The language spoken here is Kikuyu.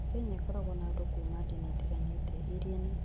Kenya ĩkoragwo na andũ kuma ndini itiganĩte, iria nĩ